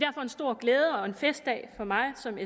stor glæde og festdag for mig som